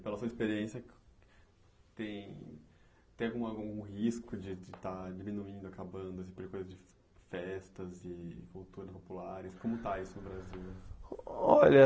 E pela sua experiência, tem tem alguma algum risco de estar diminuindo, acabando, por coisas de festas e culturas populares? Como está isso no Brasil? Olha